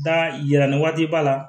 Da yira ni waati b'a la